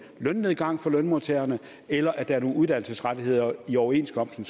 lønnedgang for lønmodtagerne eller at nogle uddannelsesrettigheder i overenskomsten